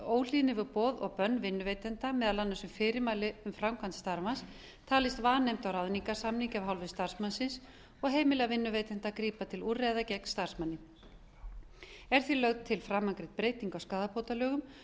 óhlýðni við boð og bönn vinnuveitanda meðal annars um fyrirmæli um framkvæmd starfans talist vanefnd á ráðningarsamningi af hálfu starfsmannsins og heimilað vinnuveitanda að grípa til úrræða gegn starfsmanni er því lögð til framangreind breyting á skaðabótalögum